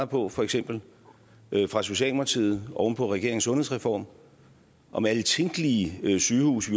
på for eksempel fra socialdemokratiet oven på regeringens sundhedsreform om alle tænkelige sygehuse